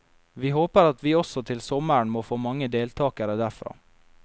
Vi håper at vi også til sommeren må få mange deltakere derfra.